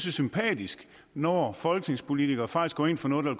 er sympatisk når folketingspolitikere faktisk går ind for noget der